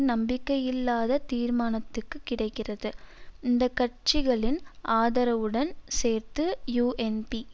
நம்பிக்கையில்லா தீர்மானத்துக்கு கிடைக்கிறது இந்த கட்சிகளின் ஆதரவுடன் சேர்த்து யூஎன்பி